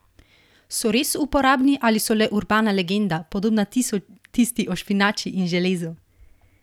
So res uporabni ali so le urbana legenda, podobna tisti o špinači in železu?